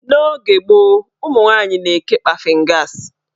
N'oge gboo, ụmụnwanyị na-eke kpafin gas.